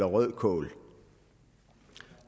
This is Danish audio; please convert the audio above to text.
og